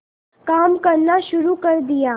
काम करना शुरू कर दिया